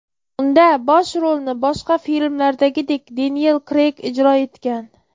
Unda bosh rolni boshqa filmlardagidek Deniyel Kreyg ijro etgan.